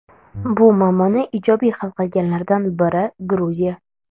Bu muammoni ijobiy hal qilganlardan biri Gruziya.